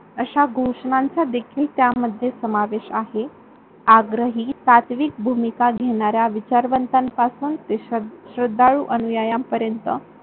अश्या घोषणांचा देखील त्यामध्ये समावेश आहे. आग्रही तात्विक भूमिका घेणाऱ्या विचारवंतान पासुन ते श्रद्धाळू अनुयायांन पर्यंत